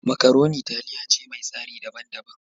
Makaroni taliya ce mai tsari daban daban.